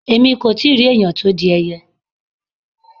Èmi kò ì tí rí ẹ̀yàn tó di ẹyẹ.